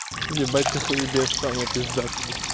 ебать ты хуебес саша пиздатый